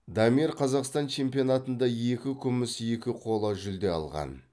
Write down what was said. дамир қазақстан чемпионатында екі күміс екі қола жүлде алған